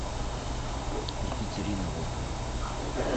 екатерина волкова